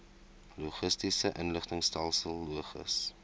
logistiese inligtingstelsel logis